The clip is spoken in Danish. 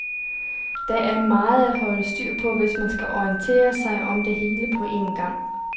Der er meget at holde styr på, hvis man skal orientere sig om det hele på en gang.